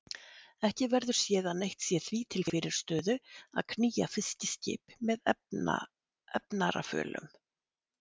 Ekki verður séð að neitt sé því til fyrirstöðu að knýja fiskiskip með efnarafölum.